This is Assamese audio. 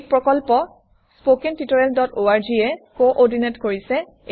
এই প্ৰকল্প httpspoken tutorialorg এ কোঅৰ্ডিনেট কৰিছে